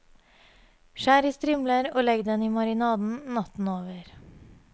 Skjær i strimler og legg den i marinaden, natten over.